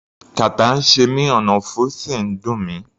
Kàtá ń ṣe mí, ọ̀nàfun sì ń dùn mí.